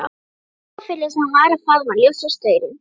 Sá augafulli sem var að faðma ljósastaurinn.